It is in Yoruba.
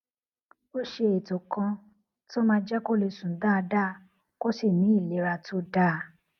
ó ṣe ètò kan tó máa jé kó lè sùn dáadáa kó sì ní ìlera tó dáa